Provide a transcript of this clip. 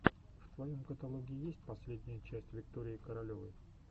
в твоем каталоге есть последняя часть виктории королевой